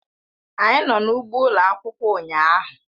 Anyị nọ n'ugbo ụlọ akwụkwọ ụnyahụ.